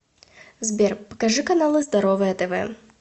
сбер покажи каналы здоровое тв